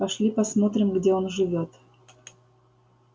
пошли посмотрим где он живёт